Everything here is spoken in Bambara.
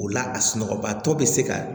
O la a sunɔgɔ batɔ bɛ se ka